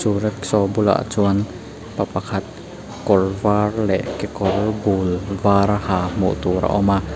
chu rikshaw bulah chuan pa pakhat kawr var leh kekawr bul var ha hmuh tur a awm a.